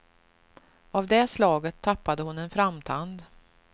Av det slaget tappade hon en framtand.